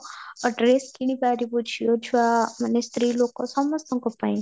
dress କିଣି ପାରିବୁ ଝିଅ ଛୁଆ ମାନେ ସ୍ତ୍ରୀ ଲୋକ ସମସ୍ତଙ୍କ ପାଇଁ